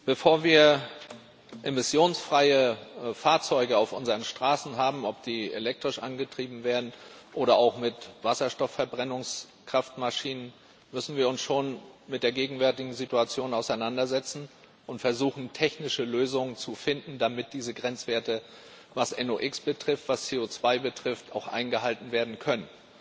Bevor wir emissionsfreie Fahrzeuge auf unseren Straßen haben ob die elektrisch angetrieben werden oder auch mit Wasserstoffverbrennungs Kraftmaschinen müssen wir uns schon mit der gegenwärtigen Situation auseinandersetzen und versuchen, technische Lösungen zu finden, damit diese Grenzwerte, was NOx betrifft, was CO2 betrifft, auch eingehalten werden können.